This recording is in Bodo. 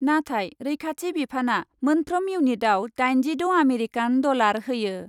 नाथाय रैखाथि बिफानआ मोनफ्रोम इउनिटआव दाइनजिद' आमेरिकान डलार होयो ।